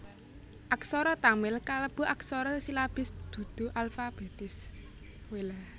Aksara Tamil kalebu aksara silabis dudu alfabètis